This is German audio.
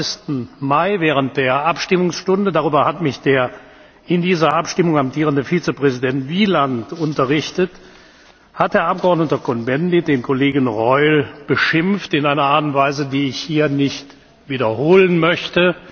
23. Mai während der Abstimmungsstunde darüber hat mich der in dieser Abstimmung amtierende Vizepräsident Wieland unterrichtet hat der Abgeordnete Cohn Bendit den Kollegen Reul beschimpft in einer Art und Weise, die ich hier nicht wiederholen möchte.